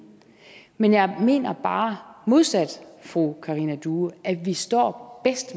men jeg mener bare modsat fru karina due at vi står os